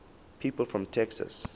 people from texas